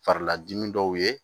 Farila dimi dɔw ye